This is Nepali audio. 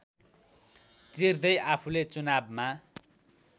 चिर्दै आफूले चुनावमा